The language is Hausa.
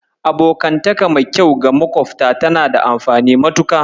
Abokantaka mai kyau ga makofta tana da amfani matuƙa.